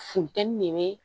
Funteni de bɛ